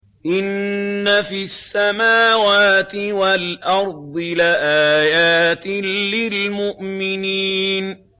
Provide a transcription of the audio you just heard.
إِنَّ فِي السَّمَاوَاتِ وَالْأَرْضِ لَآيَاتٍ لِّلْمُؤْمِنِينَ